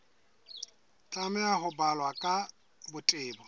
tlameha ho balwa ka botebo